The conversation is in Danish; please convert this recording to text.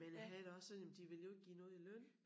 Men jeg havde det også sådan men de vil jo ikke give noget i løn